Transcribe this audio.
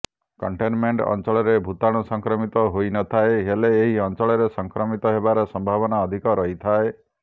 containment ଅଞ୍ଚଳରେ ଭୂତାଣୁ ସଂକ୍ରମିତ ହୋଇନଥାଏ ହେଲେ ଏହି ଅଞ୍ଚଳରେ ସଂକ୍ରମିତ ହେବାର ସମ୍ଭାବନା ଅଧିକ ରହିଥାଏ